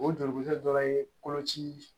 O joli dɔw ye koloci